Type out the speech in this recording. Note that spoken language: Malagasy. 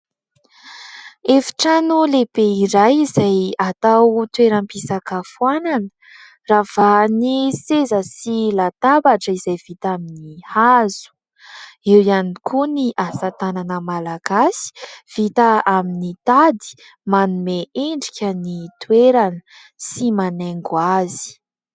Efitrano lehibe iray izay atao toeram-pisakafoanana. Ravahan'ny seza sy latabatra izay vita amin'ny hazo ; eo ihany koa ny asa tanana malagasy, vita amin'ny tady, manome endrika ny toerana sy manaingo azy.